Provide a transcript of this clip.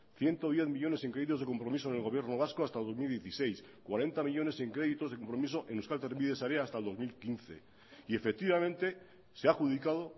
ciento diez millónes en créditos de compromiso en el gobierno vasco hasta dos mil dieciséis cuarenta millónes en créditos de compromiso en euskal trenbide sarea hasta el dos mil quince y efectivamente se ha adjudicado